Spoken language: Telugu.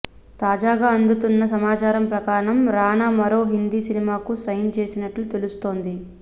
తాజాగా అందుతున్న సమాచారం ప్రకారం రానా మరో హిందీ సినిమాకు సైన్ చేసినట్లు తెలుస్తోంది